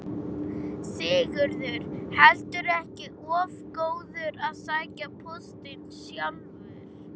Sigurður heldur ekki of góður að sækja póstinn sjálfur.